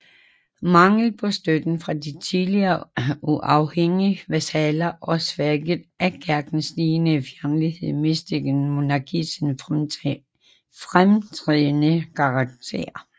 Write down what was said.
Manglen på støtten fra de tidligere uafhængige vasaller og svækket af Kirkens stigende fjendtlighed mistede monarkiet sin fremtrædende karakter